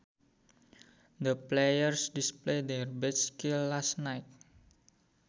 The players displayed their best skills last night